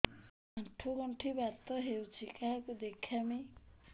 ଆଣ୍ଠୁ ଗଣ୍ଠି ବାତ ହେଇଚି କାହାକୁ ଦେଖାମି